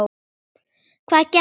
Hvað gekk á þar?